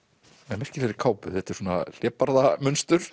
með merkilegri kápu þetta er svona